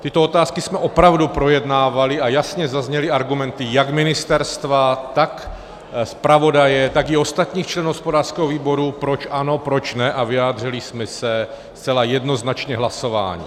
Tyto otázky jsme opravdu projednávali a jasně zazněly argumenty jak ministerstva, tak zpravodaje, tak i ostatních členů hospodářského výboru, proč ano, proč ne, a vyjádřili jsme se zcela jednoznačně hlasováním.